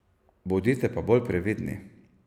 Bodite pa bolj previdni.